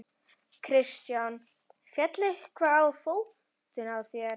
Kristján: Féll eitthvað á fótinn á þér?